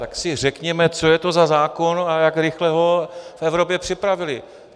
Tak si řekněme, co je to za zákon a jak rychle ho v Evropě připravili.